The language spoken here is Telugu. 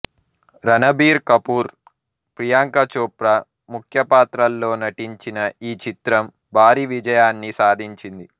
రణబీర్ కపూర్ ప్రియాంక చోప్రా ముఖ్య పాత్రల్లో నటించిన ఈ చిత్రం భారీ విజయాన్ని సాధించింది